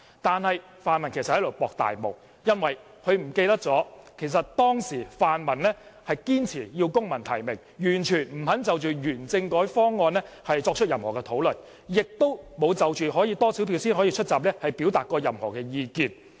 然而，他們其實是在"搏大霧"，因為他們忘記了泛民當時堅持要求公民提名，完全不肯就原政改方案作出任何討論，亦沒有就多少票才可以出閘表達任何意見。